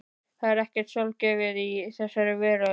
Það er ekkert sjálfgefið í þessari veröld.